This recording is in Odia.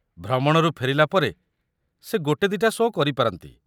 ଭ୍ରମଣରୁ ଫେରିଲା ପରେ ସେ ଗୋଟେ ଦିଟା ଶୋ' କରିପାରନ୍ତି।